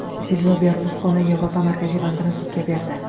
Silvio Berluskoni Yevropa markaziy bankini sudga berdi.